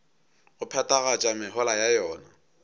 go phethagatša mehola ya yona